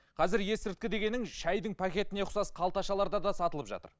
қазір есірткі дегенің шайдың пакетіне ұқсас қалташаларда да сатылып жатыр